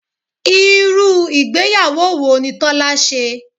Irú ìgbéyàwó wo ni Tọ́lá ṣe?